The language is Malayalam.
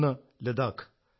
ഒന്ന് ലഡാഖ്